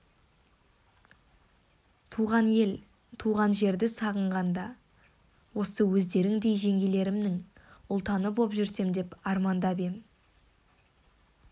туған ел туған жерді сағынғанда осы өздеріңдей жеңгелерімнің ұлтаны боп жүрсем деп армандап ем